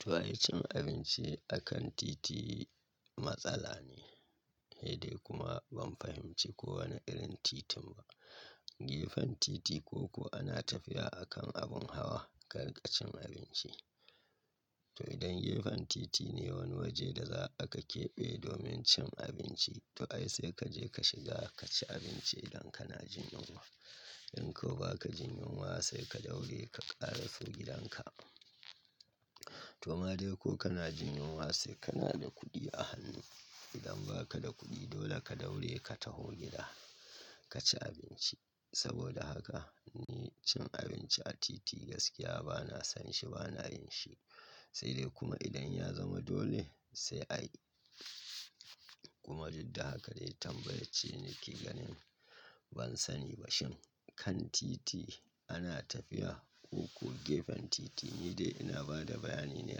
To, ai cin abinci akan titi matsala ne. Sede kuma ban fahimci kowane irin titin ba. Gefan titi ko ko ana tafiya akan abun hawa ka rinka cin abinci. To idan gefen titi ne wani waje da za a ka keɓe domin cin abinci to ai sai ka je ka shiga ka ci abinci idan kana jin yunwa. In kau ba ka jin yunwa sai ka daure ka ƙariso gidanka. To ma dai ko kana jin yunwa sai kana da kuɗi a hannu. Idan ba ka da kuɗi dole ka daure ka tafi gida ka ci abinci. Saboda haka ni cin abinci a titi gaskiya ba na san shi, ba na yin shi. Sai dai kuma idan ya zama dole sai ai. Kuma duka haka dai tambayar ce nake ganin ban sani ba. Shin kan titi ana tafiya ko ko gefen titi? Ni dai ina ba da bayani ne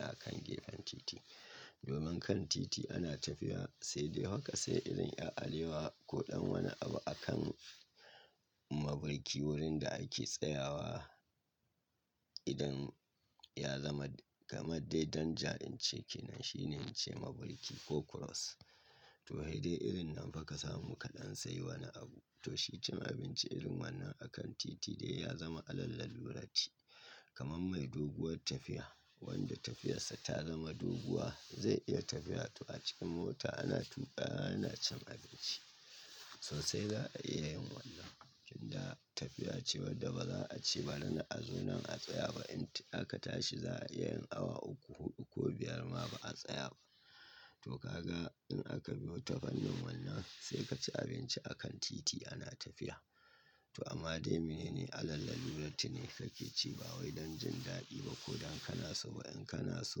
akan gefen titi. Domin kan titi ana tafiya sai dai haka sai irin yar alewa ko ɗan wani abu akan mabarki wurin da ake tsayawa. Idan ya zama kamar dai don ja in ce ke nan shine me ce mabarki ko cross. To hade irin nan fa ka samu kaɗan sai wani abu. To shi cin abinci irin wannan akan titi dai ya zama alallalurati. Kaman mai doguwar tafiya wanda tafiyarsa ta zama doguwa zai iya tafiya. To a cikin mota ana tuƙa ana cin abinci. Sosai za a iya yin wannan. Inda tafiya ce wadda ba za a ce bari a zo nan a tsaya ba. Int aka tashi za a iya awa uku, huɗu ko biyar ma ba a tsaya ba. To ka ga in aka biyo tafanin wannan sai ka ci abinci akan titi ana tafiya. To amma dai mene ne alallarurati ne kake ci ba wai don jin daɗi ba ko don kana so ba. In kana so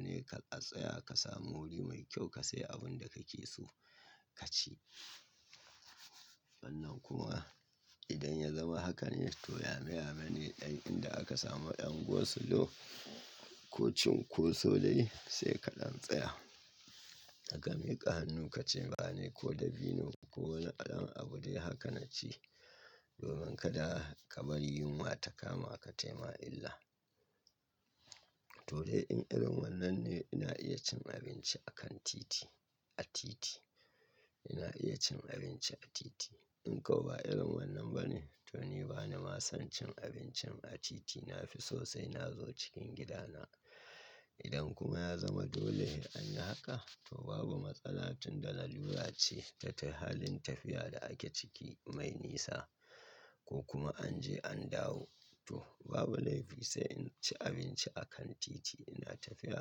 ne ka a tsaya ka samu wuri mai kyau ka sai abun da kake so ka ci. Wannan kuma idan ya zama haka ne to yameyame ne ɗan inda aka samu ɗan go solo ko cin ko so dai sai kaɗan tsaya. Ka miƙa hannu ka ci bana ne ko dabino ko wani allon abu dai haka na ci. Domin kada ka bari yunwa ta kama ka taimaa illa. To dai in irin wannan ne ina iya cin abinci akan titi. A titi. Ina iya cin abinci a titi. In kau ba irin wannan ba ne to ni bana ma son cin abincin a titi. Na fi sosai na zo cikin gidana. Idan kuma ya zama dole in anyi haka to babu matsala tun da la lura ce ta tayy halin tafiya da ake ciki mai nisa ko kuma an je an dawo. To babu laifi sai in ci abinci akan titi. Ina tafiya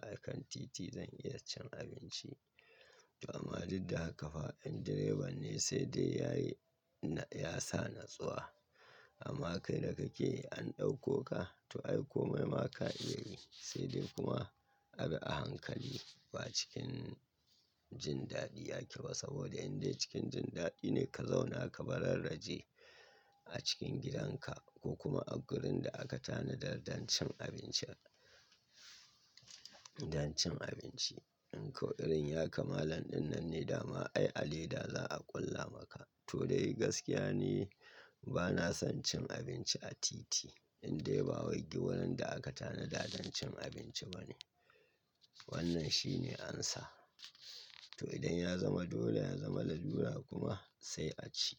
akan titi zan iya cin abinci. To amma duk haka fa in direban ne sai dai yayi na ya sa na tsuwa. Amma kai da kake an ɗauko ka to ai kome ma ka iya yi. Sai dai kuma abi a hankali ba cikin jin daɗi ake ba saboda inda cikin jin daɗi ne ka zauna ka bararraje a cikin gidanka ko kuma a gurin da aka tanadar don cin abincin. Don cin abinci. In kau irin ya kamalan ɗin nan ne dama ai aleda za a ƙulla maka. To dai gaskiya ne ba na son cin abinci a titi. Indai ba wai gurin da aka tanadar don cin abinci ba ne. Wannan shi ne amsa. To idan ya zama dole ya zama lalura kuma sai a ci.